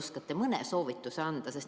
Kaste oskate mõne soovituse anda?